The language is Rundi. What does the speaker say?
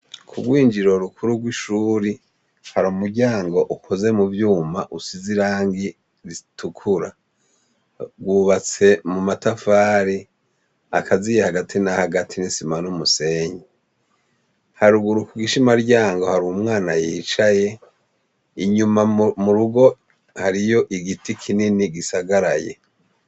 Ku rwinjiriro rukuru rwishure , hari umuryango ukoze muvyuma usize Irangi ritukura rwubatse mumatafari akaziye Hagati Hagati nisima numusenyi, haruguru kugishimaryango hari umwana yicaye inyuma nurugo hari igiti kinini gisagaraye.